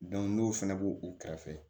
n'o fana b'o o kɛrɛfɛ